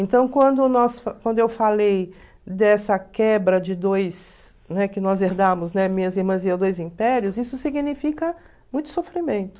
Então, quando nós, quando eu falei dessa quebra de dois, né, que nós herdamos, minhas irmãs e eu, dois impérios, isso significa muito sofrimento.